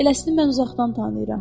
Eləsini mən uzaqdan tanıyıram.